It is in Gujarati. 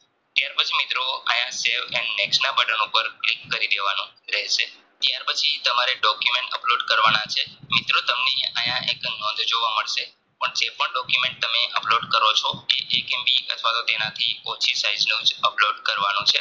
Upload કરો છો તે એક MB અથવાતો તેનાથી ઓછી Size નો Upload કરવાનો છે